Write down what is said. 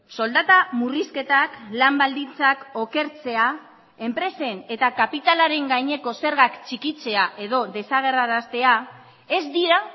soldata murrizketak lan baldintzak okertzea enpresen eta kapitalaren gaineko zergak txikitzea edo desagerraraztea ez dira